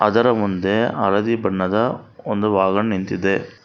ಅದರ ಮುಂದೆ ಹಳದಿ ಬಣ್ಣದ ಒಂದು ವಾಹನ ನಿಂತಿದೆ.